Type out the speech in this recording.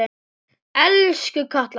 Elsku Katla mín.